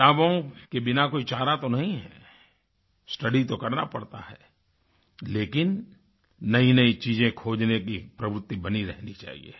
किताबों के बिना कोई चारा तो नहीं है स्टडी तो करना पड़ता है लेकिन नयीनयी चीजें खोज़ने की प्रवृति बनी रहनी चाहिए